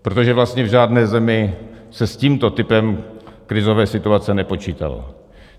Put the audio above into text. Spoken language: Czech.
Protože vlastně v žádné zemi se s tímto typem krizové situace nepočítalo.